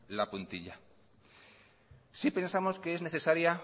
la puntilla sí pensamos que es necesaria